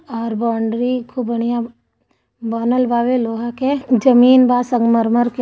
और बाउंड्री खूब बढ़िया लोहा के। जमीन बा संगमरमर के--